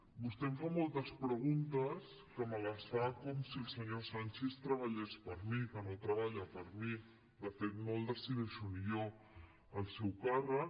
vostè em fa moltes preguntes que me les fa com si el senyor sanchis treballés per a mi que no treballa per a mi de fet no el decideixo ni jo el seu càrrec